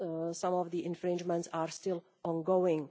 Some of the infringements are still ongoing.